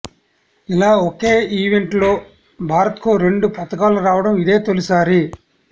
ఇలా ఒకే ఈవెంట్లో భారత్కు రెండు పతకాలు రావడం ఇదే తొలిసారి